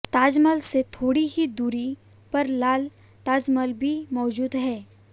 ताजमहल से थोड़ी ही दूरी पर लाल ताजमहल भी मौजूद है